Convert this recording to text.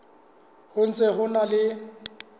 ho ntse ho na le